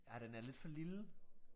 Ja den er lidt for lille